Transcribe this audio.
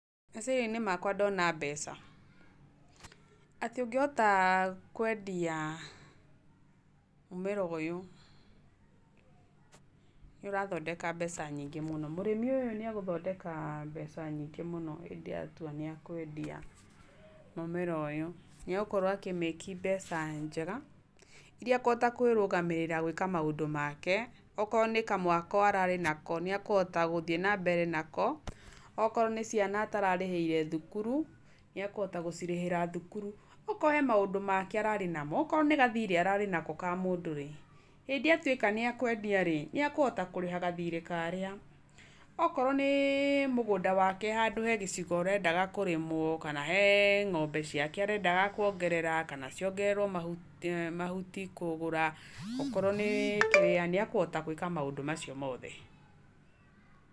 Meciria-inĩ makwa ndona mbeca, atĩ ũngĩhota kwendia mũmera ũyũ, nĩ ũrathondeka mbeca nyingĩ mũno. Mũrĩmi ũyũ nĩ egũthondeka mbeca nyingĩ mũno hĩndĩ ĩrĩa atua nĩekũendia mũmera ũyũ. Nĩ egũkorwo akĩ make mbeca njega, iria ekũhota kũĩrugamĩrĩra gũĩka maũndũ make, okorwo nĩ kamwako ararĩ nako, nĩ ekũhota gũthiĩ nambere nako. Okorwo nĩ ciana atararĩhĩire thukuru, nĩekũhota gũcirĩhĩra thukuru. Okorwo he maũndũ make ararĩ na mo, okorwo nĩ gathirĩ ararĩ nako kamũndũ rĩ, hĩndĩ ĩrĩa atuĩka nĩkwendia rĩ, nĩakũhota kũrĩha gathirĩ karĩa. Okorwo nĩ mũgũnda wake hena gĩcigo arendaga kĩrĩmwo rĩ, kana he ng'ombe ciake arenda kuongerera, kana ciongererwo mahuti, mahuti kũgũra, okorwo nĩ kĩrĩa, nĩ akũhota gũĩka maũndũ macio mothe.